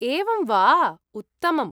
एवं वा, उत्तमम्।